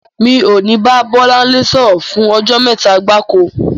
Mi ò ní bá Bọ́láńlé sọ̀rọ̀ fún ọjọ́ mẹ́ta gbáko.